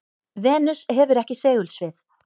venus hefur ekki segulsvið